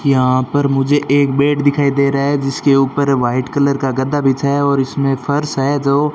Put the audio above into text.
यहां पर मुझे एक बेड दिखाई दे रहा है जिसके ऊपर व्हाइट कलर का गद्दा बिछाया और इसमें फर्श है जो --